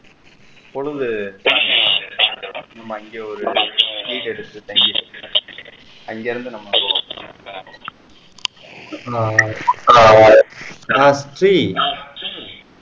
பொழுது அங்கேயே ஒரு வீடு எடுத்து தங்கி அங்க இருந்து நம்ம கோவா